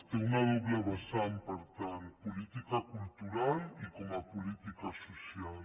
té una doble vessant per tant política cultural i com a política social